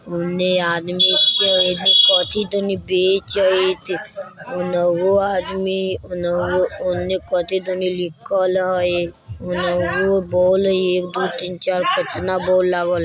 उने आदमी छै कथी दनी बैचेत उनहों आदमी उनहो-उने कथि दनी लिखल हय उनहों बोल एक दो तीन चार कतना बोल लागल --